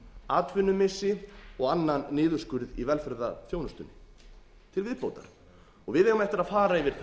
atvinnumissi og annan niðurskurð í velferðarþjónustunni til viðbótar við eigum eftir að fara yfir